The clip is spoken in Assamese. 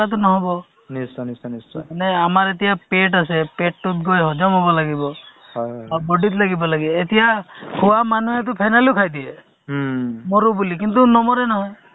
to actually কি আমাৰ public বুজি পাব লাগে বা আমাৰ লেখিয়া যুব প্ৰজন্মই বুজি পাব লাগে যে তেওঁলোক আমাৰ কি চৰকাৰে যে এনেকে ব্যবস্থা কৰিছে to আমিও তেওঁলোকৰ লগত চলিব লাগিব নহয় জানো